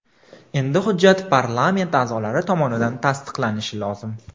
Endi hujjat parlament a’zolari tomonidan tasdiqlanishi lozim.